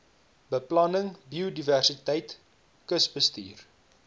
beplanning biodiversiteit kusbestuur